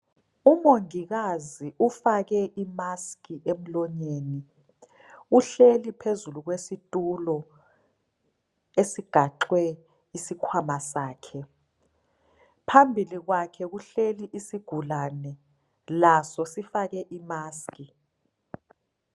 Umongikazi ufake i- mask emlonyeni uhleli phezulu kwesitulo esigaxwe isikhwama sakhe. Phambili kwakhe kuhleli isigulane laso sifake i- mask.